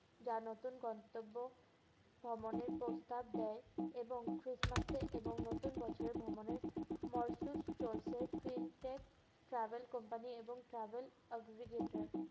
যা নতুন গন্তব্য ভ্রমণের প্রস্তাব দেয় এবং Christmas এ এবং নতুন বছর ভ্রমণের মরসুস চলছে syntex travel company এবং travel executor ।